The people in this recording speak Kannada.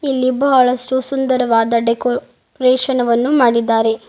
ಇಲ್ಲಿ ಬಹಳಷ್ಟು ಸುಂದರವಾದ ಡೆಕೋರೇಷನ್ ವನ್ನು ಮಾಡಿದ್ದಾರೆ.